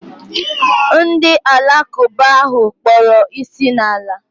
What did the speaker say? Ndị alakụba ahụ kpọrọ isi n'ala